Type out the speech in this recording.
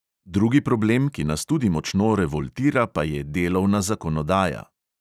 Drugi problem, ki nas tudi močno revoltira, pa je delovna zakonodaja.